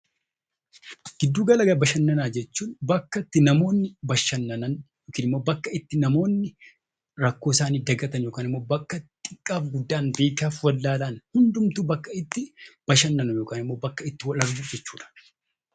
Giddu gala bashannanaa jechuun bakka itti namoonni bashannanan yookaan immoo bakka itti namoonni rakkoo isaanii dagatan yookaan xiqqaaf guddaan, beekaaf wallaalaan hundumtuu bakka itti bashannanu yookaan immoo bakka itti wal argu jechuudha.